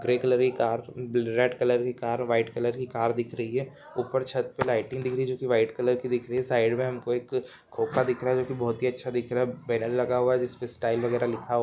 Grey colour की car ब red colour की कार व्हाइट कलर की कार दिख रही हैं उपर छत पे लाइटिंग दिख रही हैं जोकि व्हाइट कलर की दिख रही हैं साइड मे हमको एक खोखा दिख रहा हैं जोकि बहोत ही अच्चा दिख रहा हैं पेडल लगा हुआ हैं। जिसपे स्टाइल व्गेरा लिखा हुआ--